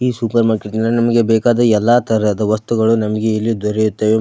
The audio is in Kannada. ಈ ಸೂಪರ್ ಮಾರ್ಕೆಟ್ ನಮಗೆ ಬೇಕಾದ ಎಲ್ಲ ತರಹದ ವಸ್ತುಗಳು ನಮಗೆ ಇಲ್ಲಿ ದೊರೆಯುತ್ತವೆ.